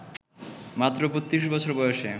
মাত্র ৩২ বছর বয়সে